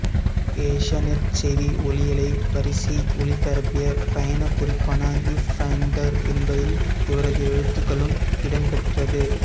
ஏசியானெட் செய்தி ஒளியலை வரிசை ஒளிபரப்பிய பயணக் குறிப்பான வ்யூஃபைண்டர் என்பதில் இவரது எழுத்துகளும் இடம் பெற்றது